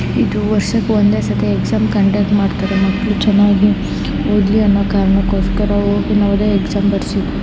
ಇದು ವರ್ಷ್ ಒಂದೇ ಸತ್ತೆ ಎಕ್ಸಾಮ್ ಕಂಡಕ್ಟ್ ಮಾಡ್ತಾರೆ ಮಕ್ಕಳು ಚೆನಾಗಿ ಓದಲಿ ಅನ್ನೊ ಕಾರಣಕೊಸ್ಕರ ಹೋಗ್ಲಿ ನವೋದಯ ಎಕ್ಸಾಮ್ ಬರ್ಸಿ --